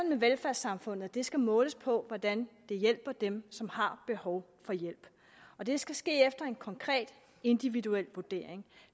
med velfærdssamfundet at det skal måles på hvordan vi hjælper dem som har behov for hjælp og det skal ske efter en konkret individuel vurdering